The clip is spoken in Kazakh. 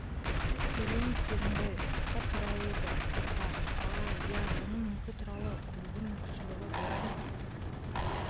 сөйлеңіз дедім ғой асқар туралы еді асқар а-а-а ия оның несі туралы көруге мүмкіншілігі болар ма